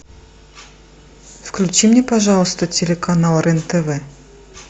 включи мне пожалуйста телеканал рен тв